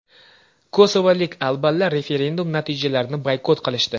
Kosovolik albanlar referendum natijalarini boykot qilishdi.